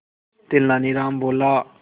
तेनालीराम बोला